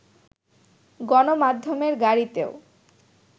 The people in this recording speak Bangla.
গণমাধ্যমের গাড়িতেও